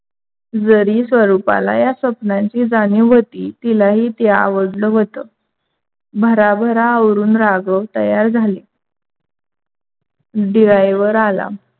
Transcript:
जरी स्वरूपाला ह्या स्वप्नांची जाणीव होती. तिलाही ते आवडल होत, भराभरा आवरून राघव तयार झाले. driver आला.